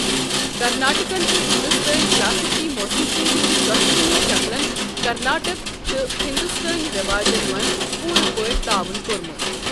کرناٹکن چھ ہندوستٲنۍ کلاسیکی موسیقی ہٕنٛدِ دۄشوٕنی شکلَن کرناٹک تہٕ ہندوستٲنی رٮ۪واجن منٛز پوٗرٕ پٲٹھۍ تعاون کوٚرمُت۔